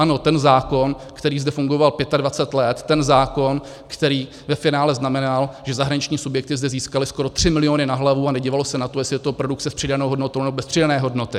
Ano, ten zákon, který zde fungoval 25 let, ten zákon, který ve finále znamenal, že zahraniční subjekty zde získaly skoro 3 miliony na hlavu, a nedívalo se na to, jestli je to produkce s přidanou hodnotou, nebo bez přidané hodnoty.